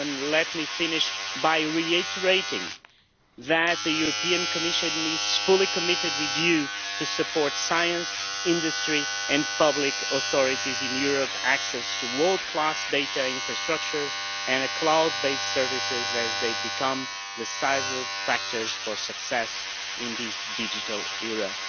Let me finish by reiterating that the Commission is fully committed with you to supporting science, industry and public authorities in Europe, access to world class data infrastructures and cloud based services as they become the decisive factors for success in this digital era.